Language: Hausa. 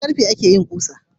Da karfe akeyin kusa